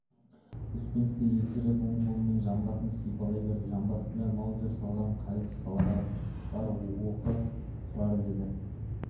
успенский ежірейіп оң қолымен жамбасын сипалай береді жамбасында маузер салған қайыс қалға бар оқы тұрар деді